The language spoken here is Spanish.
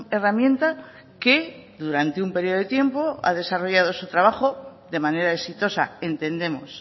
herramienta que durante un periodo de tiempo ha desarrollado su trabajo de manera exitosa entendemos